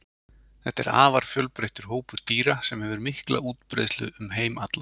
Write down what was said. þetta er afar fjölbreyttur hópur dýra sem hefur mikla útbreiðslu um heim allan